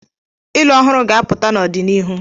Ilu ọhụrụ ga-apụta n'ọdịnihu.